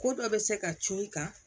Ko dɔ bɛ se ka cun i kan